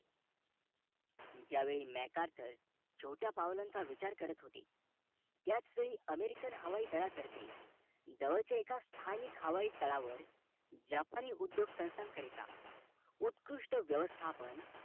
ज्या वेळी mekarcon छोट्या पावलांचा विचार करत होते त्याच वेळी american हवाई दला तर्फे जवळच्या स्थानिक हवाई तळावर जपानी उद्योग संस्थांकरिता उत्कृष्ट व्यवस्थापन